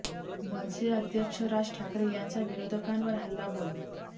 मनसे अध्यक्ष राज ठाकरे यांचा विरोधकांवर हल्ला बोल